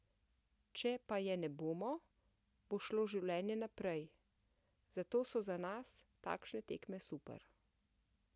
Če pa je ne bomo, bo šlo življenje naprej, zato so za nas takšne tekme super.